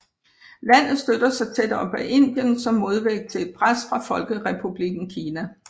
Landet støtter sig tæt op ad Indien som modvægt til et pres fra Folkerepublikken Kina